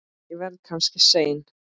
Ég verð kannski seinn.